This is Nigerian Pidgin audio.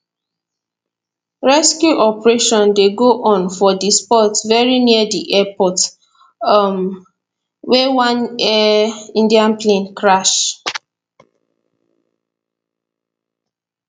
rescue operation dey go on for di spot very near di airport um wia one air india plane crash